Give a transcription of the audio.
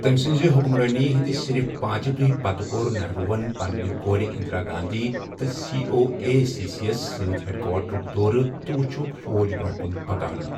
تٔم سٕنٛزِ حُکُمرٲنی ہٕنٛد صِرِف پانٛژی دوٚہۍ پتہٕ کوٚر نہرُوہن پنٛنہِ کورِ اِنٛدرا گانٛدھی تہٕ سی او اے اٮ۪سس سۭتۍ ہٮ۪ڈ کواٹرک دورٕ تہٕ وٕچِھکھ فوج برٛۄنٛہہ کُن پکان۔